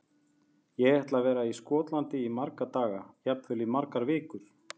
Ég ætla að vera í Skotlandi í marga daga, jafnvel í margar vikur.